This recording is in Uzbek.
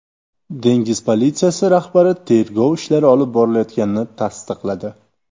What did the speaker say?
Dengiz politsiyasi rahbari tergov ishlari olib borilayotganini tasdiqladi.